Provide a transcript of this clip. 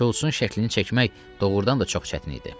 Şults-un şəklini çəkmək doğrudan da çox çətin idi.